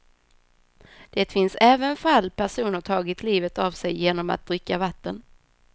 Det finns även fall personer tagit livet av sig genom att dricka vatten.